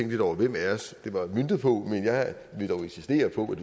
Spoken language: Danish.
lidt over hvem af os det var møntet på men jeg vil dog insistere på